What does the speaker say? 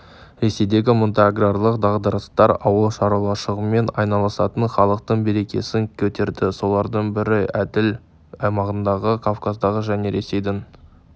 ресейдегі мұндай аграрлық дағдарыстар ауыл шаруашылығымен айналысатын халықтың берекесін кетірді солардың бірі еділ аймағындағы кавказдағы және ресейдің